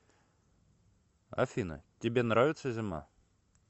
афина тебе нравится зима